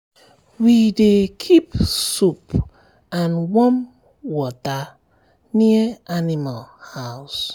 we dey keep soap and warm water near animal house.